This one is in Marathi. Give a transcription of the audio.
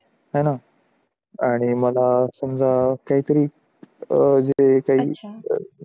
हे ना आनी माला समजा काय थारी अह जे काई